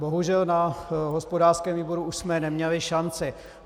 Bohužel na hospodářském výboru už jsme neměli šanci.